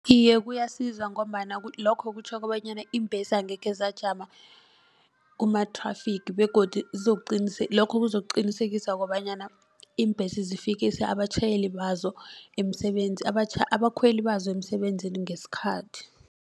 Iye kuyasiza ngombana lokho kutjho kobanyana iimbhesi angekhe zajama kuma-traffic begodu lokho kuzokuqinisekisa kobanyana iimbhesi zifikisa abatjhayeli bazo abakhweli bazo emsebenzini ngesikhathi.